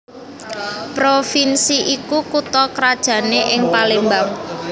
Provinsi iku kutha krajané ing Palembang